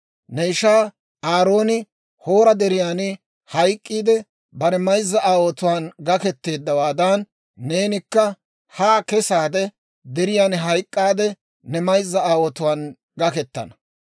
Ne ishaa Aarooni Hoora Deriyan hayk'k'iide, bare mayzza aawotuwaan gaketeeddawaadan, neenikka ha keseedda deriyaan hayk'k'aade, ne mayzza aawotuwaan gakettana.